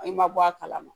I ma bɔ a kalama